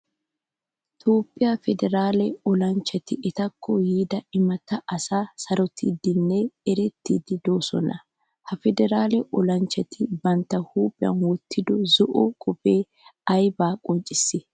Toophphiyaa federale olanchchati etakko yiida imata asaa sarottidinne erettidi deosona. Ha federale olachchati bantta huuphphiyan wottido zo'o kopiyay ayba qonccisi?